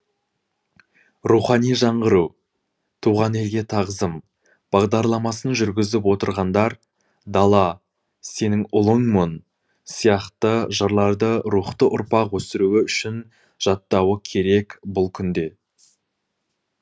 рухани жаңғыру туған елге тағзым бағдарламасын жүргізіп отырғандар дала сенің ұлыңмын сияқты жырларды рухты ұрпақ өсіруі үшін жаттатуы керек бұл күнде